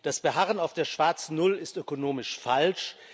Das Beharren auf der schwarzen Null ist ökonomisch falsch.